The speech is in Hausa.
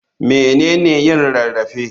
Mene ne yin rarrafe?